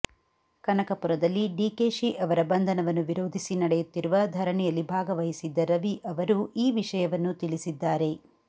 ಕನಕಪುರದಲ್ಲಿ ಡಿಕೆಶಿ ಅವರ ಬಂಧನವನ್ನು ವಿರೋಧಿಸಿ ನಡೆಯುತ್ತಿರುವ ಧರಣಿಯಲ್ಲಿ ಭಾಗವಹಿಸಿದ್ದ ರವಿ ಅವರು ಈ ವಿಷಯವನ್ನು ತಿಳಿಸಿದ್ದಾರೆ